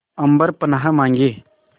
अम्बर पनाहे मांगे